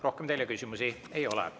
Rohkem teile küsimusi ei ole.